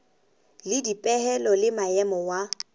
le dipehelo le maemo wa